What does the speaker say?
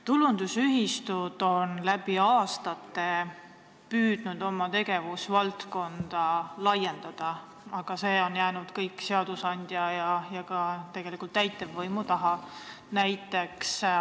Tulundusühistud on läbi aastate püüdnud oma tegevusvaldkonda laiendada, aga see on jäänud kõik seadusandja ja tegelikult ka täitevvõimu taha.